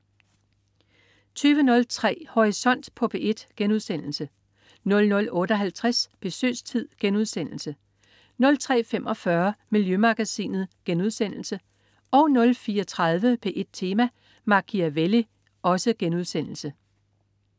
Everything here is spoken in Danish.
20.03 Horisont på P1* 00.58 Besøgstid* 03.45 Miljømagasinet* 04.30 P1 Tema: Machiavelli*